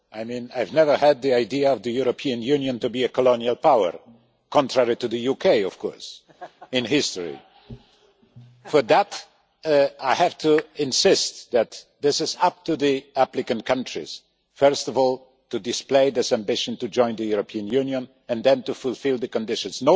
I have never had the idea of the European Union as a colonial power, contrary to the UK in history. So I have to insist that it is up to the applicant countries first of all to display this ambition to join the European Union and then to fulfil the conditions.